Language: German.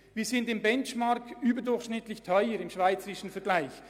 Wir sind gemäss Benchmark im schweizweiten Vergleich überdurchschnittlich teuer.